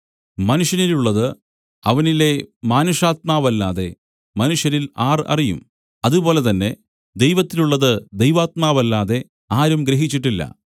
മനുഷ്യനിലുള്ളത് അവനിലെ മാനുഷാത്മാവല്ലാതെ മനുഷ്യരിൽ ആർ അറിയും അതുപോലെ തന്നെ ദൈവത്തിലുള്ളത് ദൈവാത്മാവല്ലാതെ ആരും ഗ്രഹിച്ചിട്ടില്ല